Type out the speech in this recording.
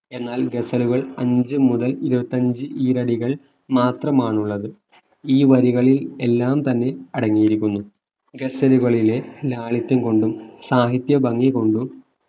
എന്നാൽ ഗസലുകൾ അഞ്ചു മുതൽ ഇരുപത്തി അഞ്ചു ഈരടികൾ മാത്രമാണ് ഉള്ളത് ഈ വരികളിൽ എല്ലാം തന്നെ അടങ്ങിയിരിക്കുന്നു ഗസലുകളിലെ ലാളിത്യം കൊണ്ടും സാഹിത്യം ഭംഗിക്കൊണ്ടും